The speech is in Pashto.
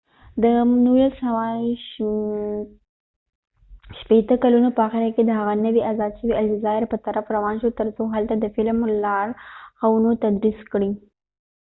د 1960 کلونو په آخره کې هغه د نوي آزاد شوې الجزائر په طرف روان شو تر څو هلته د فیلم لارښوونه تدریس کړي